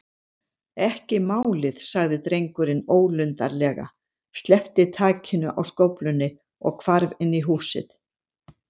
Ekki málið- sagði drengurinn ólundarlega, sleppti takinu á skóflunni og hvarf inn í húsið.